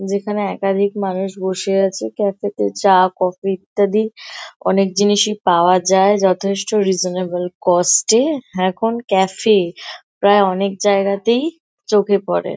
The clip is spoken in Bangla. যেখানে একাধিক মানুষ বসে আছে। ক্যাফে - তে চা কফি - ইত্যাদি অনেক জিনিসই পাওয়া যায় যথেষ্ট রিসনেবেল কস্ট - এ। এখন ক্যাফে - প্রায় অনেক জায়গাতেই চোখে পড়ে।